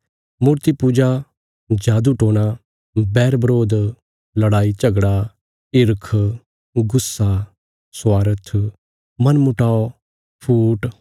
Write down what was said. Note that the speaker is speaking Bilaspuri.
मूर्ति पूजा जादूटोणा बैरबरोध लड़ाईझगड़ा हिरख गुस्सा स्वार्थ मनमुटाव फूट